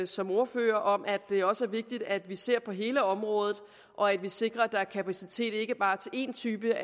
som ordfører om at det også er vigtigt at vi ser på hele området og at vi sikrer at der er kapacitet ikke bare til en type